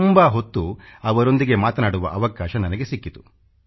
ತುಂಬಾ ಹೊತ್ತು ಅವರೊಂದಿಗೆ ಮಾತನಾಡುವ ಅವಕಾಶ ನನಗೆ ಸಿಕ್ಕಿತು